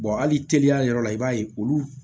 hali teliya yɔrɔ la i b'a ye olu